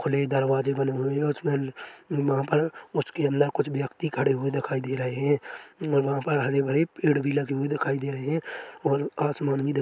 खुले दरवाजे बने हुए हैं उसमे वहाँ पर उसके अंदर कुछ व्यक्ति खड़े हुए दिखाई दे रहे हैं म वहाँ पर हरे-भरे पेड़ भी लगे हुए दिखाई दे रहे हैं और आसमान भी दिख--